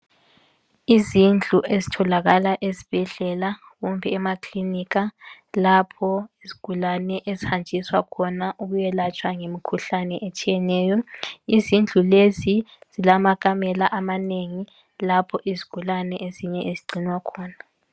Izindlu ezitholakala ezibhedlela, kumbe emakilinika, lapho izigulane ezihanjiswa khona ukuyelatshwa imikhuhlane etshiyeneyo, izindlu lezi zilamakamela amanengi lapho izigulane ezinye ezigcinwa khona.